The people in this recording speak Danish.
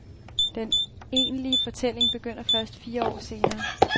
Den egentlige fortælling begynder først fire år senere.